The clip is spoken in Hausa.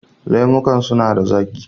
Lemukan suna da zaƙi